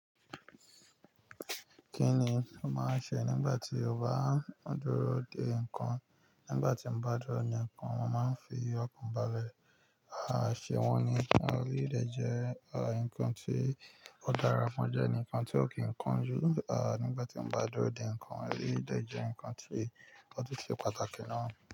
Kí ni o máa ń ṣe nígbà tí o bá ń dúró de nǹkan? Nígbà tí mo bá dúró de nǹkan, mo máa ń fi ọkàn balẹ̀, àṣẹ wọn ni, ẹ ri dájẹ́, nǹkan tí ó dára fún ọ jẹ́ nǹkan tí ó kí nǹkan jù. À, nígbà tí mo bá dúró de nǹkan ẹ rí dájẹ́, nǹkan tí ó tó ṣe pàtàkì náà.